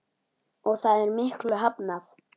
Og það er miklu hafnað.